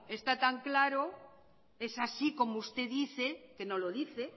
está tan claro es así como usted dice que no lo dice